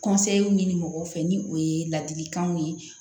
ɲini mɔgɔ fɛ ni o ye ladilikanw ye